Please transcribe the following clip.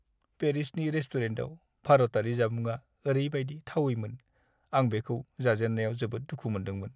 पेरिसनि रेस्टुरेन्टआव भारतारि जामुंआ ओरैबायदि थावैमोन आं बेखौ जाजेननायाव जोबोद दुखु मोन्दोंमोन।